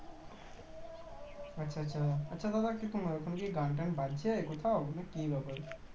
আচ্ছা আচ্ছা আচ্ছা দাদা কিছু মনে করো না কোনো গান কি বাজছে কোথাও না কি ব্যাপার